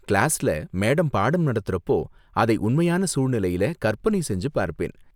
கிளாஸ்ல மேடம் பாடம் நடத்துறப்போ, அதை உண்மையான சூழ்நிலையில கற்பனை செஞ்சு பார்ப்பேன்.